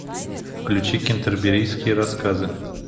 включи кентерберийские рассказы